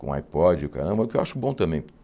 Com iPod e o caramba, que eu acho bom também.